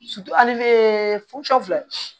filɛ